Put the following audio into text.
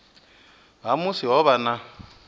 ha musi ho vha na